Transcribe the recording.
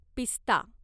पिस्ता